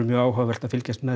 mjög áhugavert að fylkjast með